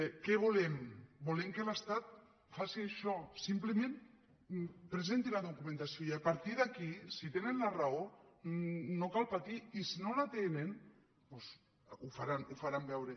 què volem volem que l’estat faci això simplement presenti la documentació i a partir d’aquí si tenen la raó no cal patir i si no la tenen doncs ho faran veure